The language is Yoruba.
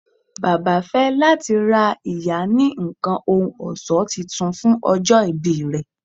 Baba fẹ lati ra iya kan ohun ọṣọ Titun fun ojo ibi rẹ